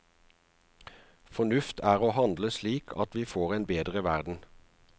Fornuft er å handle slik at vi får en bedre verden.